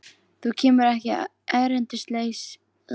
Þú kemur ekki erindisleysu að þessu sinni, Pétur karl.